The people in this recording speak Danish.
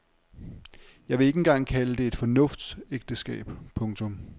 Jeg vil ikke engang kalde det et fornuftsægteskab. punktum